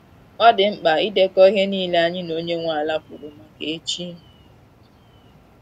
Ọ dị mkpa idekọ ihe nile anyi na onye nwa ala kwuru maka echi